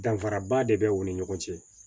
Danfaraba de bɛ u ni ɲɔgɔn cɛ